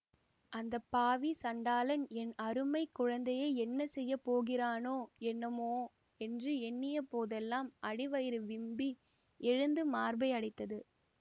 அந்த பாவி சண்டாளன் என் அருமை குழந்தையை என்ன செய்ய போகிறானோ என்னமோ என்று எண்ணிய போதெல்லாம் அடி வயிறு விம்மி எழுந்து மார்பை அடைத்தது